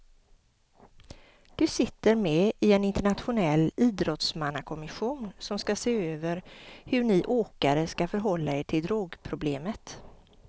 Du sitter med i en internationell idrottsmannakommission som ska se över hur ni åkare ska förhålla er till drogproblemet.